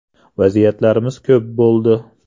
Vaziyatlarimiz ko‘p bo‘ldi.